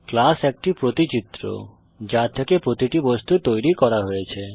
class একটি প্রতিচিত্র যা থেকে প্রতিটি বস্তু তৈরি করা হয়েছে